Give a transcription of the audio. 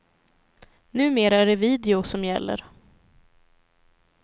Numera är det video som gäller.